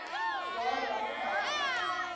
jaar lank al